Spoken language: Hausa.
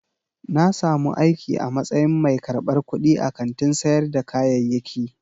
Na samu aiki a matsayin mai karɓar kuɗi a kantin sayar da kayayyaki.